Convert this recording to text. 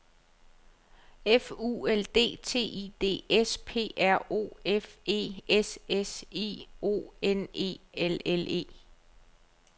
F U L D T I D S P R O F E S S I O N E L L E